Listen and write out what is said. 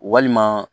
Walima